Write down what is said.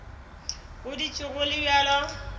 go dutše go le bjalo